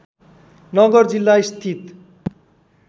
नगर जिल्ला स्थित